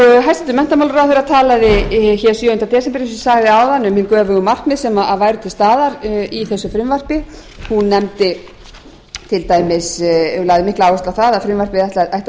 hæstvirtur menntamálaráðherra talaði sjöunda desember eins og ég sagði áðan um hin göfugu markmið sem væru til staðar í þessu frumvarpi hún lagði mikla áherslu á að frumvarpið ætti að